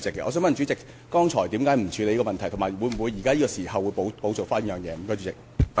我想問主席，剛才為何不處理有關事項，以及會否現在補做？